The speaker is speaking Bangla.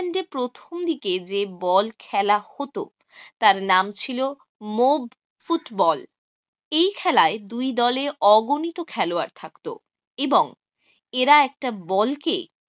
প্রথম দিকে যে বল খেলা হত তার নাম ছিল mob ফুটবল। এই খেলায় দুই দলে অগণিত খেলোয়াড় থাকতো এবং এরা একটা বল কে